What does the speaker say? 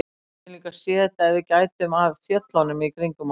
Við getum líka séð þetta ef við gætum að fjöllunum kringum okkur.